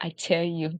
i tell you